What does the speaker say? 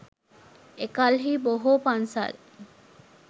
එකල්හි බොහෝ පන්සල්